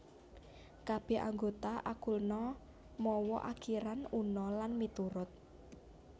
Kabèh anggota alkuna mawa akiran una lan miturut